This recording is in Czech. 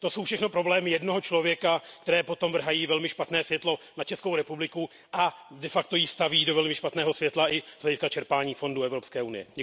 To jsou všechno problémy jednoho člověka, která potom vrhají velmi špatné světlo na Českou republiku a de facto ji staví do velmi špatného světla i z hlediska čerpání fondů Evropské unie.